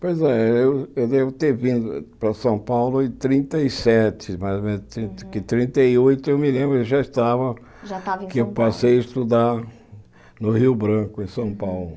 Pois é, eu eu devo ter vindo para São Paulo em trinta e sete, mas em que trinta e oito eu me lembro que já estava, Já estava que eu passei a estudar no Rio Branco, em São Paulo.